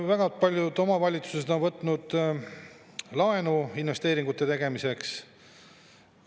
Väga paljud omavalitsused on võtnud laenu investeeringute tegemiseks.